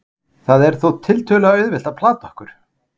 Það er þó tiltölulega auðvelt að plata okkur.